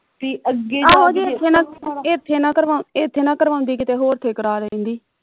ਬਈ ਜਾ ਕੇ ਅੱਗੇ ਜਾ ਕੇ ਇਥੇ ਨਾ ਕਰਾਦੀ ਇਥੇ ਨਾ ਕਰਾਉਦੀ ਹੋਰ ਕਿਤੇ ਕਰਾ ਲੈਂਦੀ